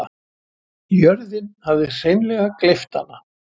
Jörðin hafði hreinleg gleypt hana.